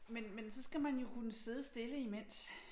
Men men så skal man jo kunne sidde stille imens